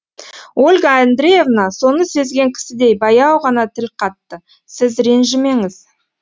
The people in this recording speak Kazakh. ольга андреевна соны сезген кісідей баяу ғана тіл қатты сіз ренжімеңіз